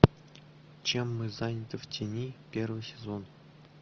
чем мы заняты в тени первый сезон